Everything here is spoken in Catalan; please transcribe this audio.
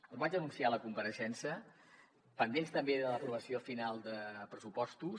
ho vaig anunciar a la compareixença pendents també de l’aprovació final de pressupostos